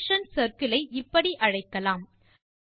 function circle ஐ இப்படி அழைக்கலாம்